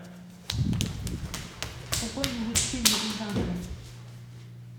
какой нибудь фильм рязанова